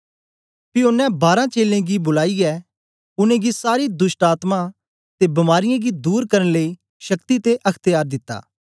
पी ओनें बारें चेलें गी बुलाईयै उनेंगी सारे दोष्टआत्मायें ते बीमारीयें गी दूर करन लेई शक्ति ते अख्त्यार दिता